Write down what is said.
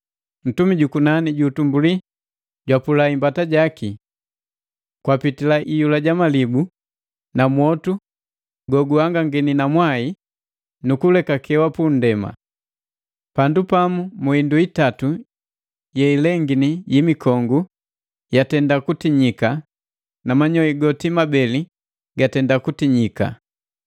Ntumi jukunani ju utumbuli jwapula imbata jaki. Kwapitila iyula ja malibu na mwotu goguhangangini na mwai nukulekewa pa nndema. Pandu pamu mu indu itatu yeilengini patenda kutinyika, pandu pamu mu indu itatu yeilengini yi mikongu yaatenda kutinyika na manyoi goti mabei gatenda kutinyika.